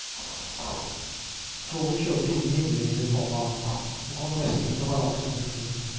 Toget kjørte inn i hindringene, komma og kom nesten ut av balanse. punktum